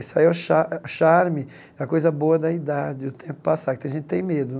Isso aí é o cha eh charme, é a coisa boa da idade, o tempo passar, que tem gente que tem medo.